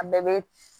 A bɛɛ bɛ